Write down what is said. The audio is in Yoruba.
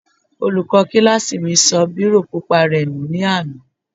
Olùkọ́ kílásì mi sọ bírò pupa rẹ̀ nù ní àná